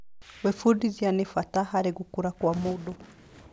Gwĩbundithia nĩ bata harĩ gũkũra kwa mũndũ.